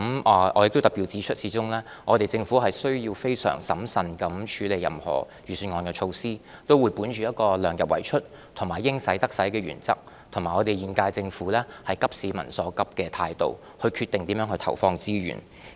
我要特別指出，始終政府需要非常審慎地處理任何預算案的措施，我們會本着量入為出及"應使則使"的原則，並以現屆政府急市民所急的態度，決定如何投放資源。